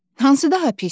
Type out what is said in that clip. Hansı daha pisdir?